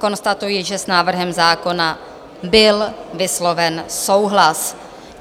Konstatuji, že s návrhem zákona byl vysloven souhlas.